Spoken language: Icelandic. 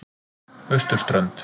Austurströnd